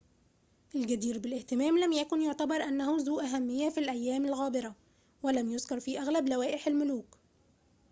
الجدير بالاهتمام لم يكن يعتبر أنه ذو أهمية في الأيام الغابرة ولم يُذكر في أغلب لوائح الملوك